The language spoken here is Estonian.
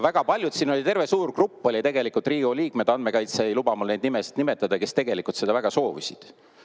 Väga paljud – siin oli terve suur grupp Riigikogu liikmeid, andmekaitse ei luba mul neid nimesid nimetada – tegelikult seda väga soovisid.